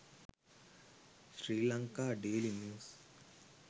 sri lanka daily news